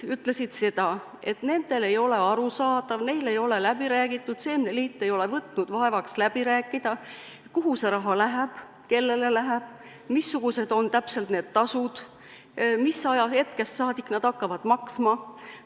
Nad ütlesid seda, et nendele ei ole arusaadav, neile ei ole läbi räägitud, seemneliit ei ole võtnud vaevaks läbi rääkida, kuhu see raha läheb, kellele see läheb, missugused on täpselt need tasud, mis ajahetkest saadik nad hakkavad maksma.